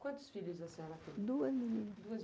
Quantos filhos a senhora tem?